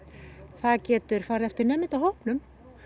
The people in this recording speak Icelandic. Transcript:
það getur farið eftir nemendahópnum